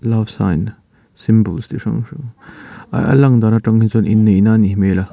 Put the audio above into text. love sign symbol chi hrang hrang a lang dan atang hi chuan inneihna a nih hmel.